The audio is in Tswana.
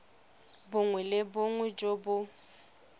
bongwe le bongwe jo bo